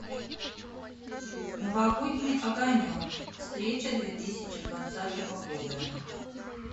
новогодний огонек встреча две тысячи двадцатого года